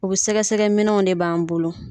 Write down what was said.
U be sɛgɛsɛgɛminɛw de b'an bolo